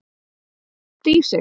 Þau soga allt í sig.